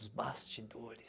Os bastidores.